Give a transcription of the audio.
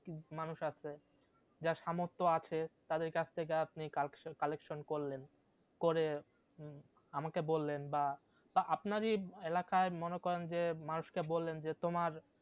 মানুষ আছে যার সামর্থ আছে তাদের কাছ থেকে আপনি কাল collection করলেন করে আমাকে বললেন বা বা আপনারই এলাকায় মনে করেন যে মানুষকে বললেন যে তোমার